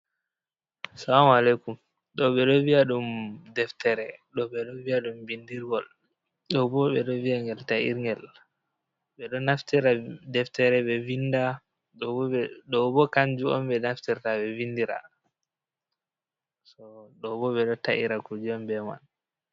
Salamu aleikum ɗo ɓeɗo vi'a ɗum deftere, ɗo ɓeɗo vi'a ɗum bindirgol, ɗo ɓo ɓe ɗo vi'a ngel ta irgel, ɓeɗo naftira deftere be vinda, ɗobo kanju on be naftirta ɓe vindira ɗo ɗobo ɓeɗo taira kuje on be man.